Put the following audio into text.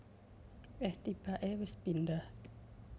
Eh tibake wis pindah